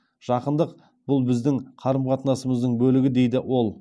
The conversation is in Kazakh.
жақындық бұл біздің қарым қатынасымыздың бөлігі дейді ол